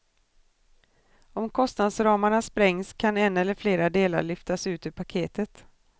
Om kostnadsramarna sprängs kan en eller flera delar lyftas ut ur paketet.